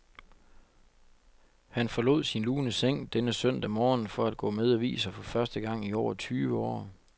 Han forlod sin lune seng denne søndag morgen for at gå med aviser for første gang i over tyve år.